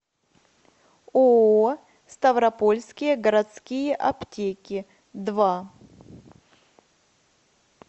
ооо ставропольские городские аптеки два